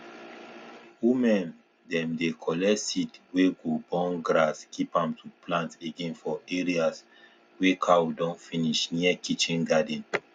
women dem dey collect seed wey go born grass keep am to plant again for areas wey cow don finish near kitchen garden